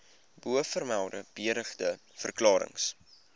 bovermelde beëdigde verklarings